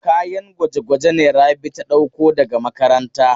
Kayan gwaje-gwaje ne Rabi ta ɗauko daga makaranta.